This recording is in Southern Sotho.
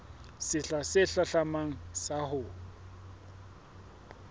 sehla se hlahlamang sa ho